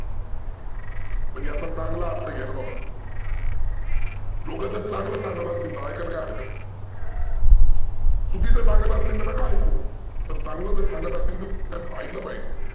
पण याचा चांगला अर्थ घ्याना बाबांनो. लोक जर चांगल सांगत असतील तर ऐकायला काय हरकत आहे? चुकीचं सांगत असतील तर नका ऐकू. पण चांगलं जर सांगत असतील तर ऐकलं पाहीजे.